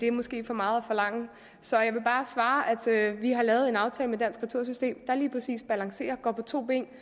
er måske for meget forlangt så jeg vil bare svare at vi har lavet en aftale med dansk retursystem der lige præcis balancerer går på to ben